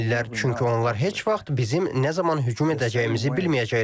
Çünki onlar heç vaxt bizim nə zaman hücum edəcəyimizi bilməyəcəklər.